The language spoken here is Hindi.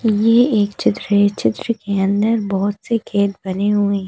ये एक चित्र है चित्र के अंदर बहुत से खेत बने हुए हैं।